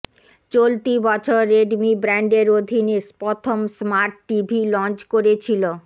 চলতি বছর রেডমি ব্র্যান্ডের অধীনে প্রথম স্মার্ট টিভি লঞ্চ করেছিল